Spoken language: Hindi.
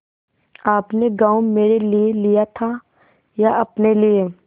आपने गॉँव मेरे लिये लिया था या अपने लिए